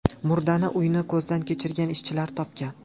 Murdani uyni ko‘zdan kechirgan ishchilar topgan.